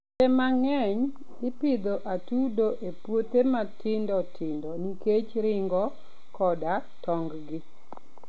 Kinde mang'eny, ipidho atudo e puothe matindo tindo nikech ring'o koda tong'gi.